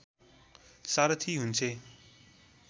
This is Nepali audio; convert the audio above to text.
सारथी हुन्छे